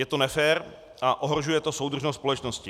Je to nefér a ohrožuje to soudržnost společnosti.